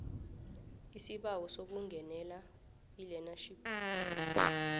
isibawo sokungenela ilearnership